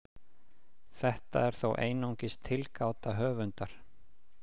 Þetta er þó einungis tilgáta höfundar.